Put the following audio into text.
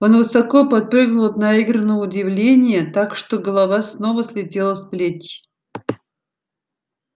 он высоко подпрыгнул от наигранного удивления так что голова снова слетела с плеч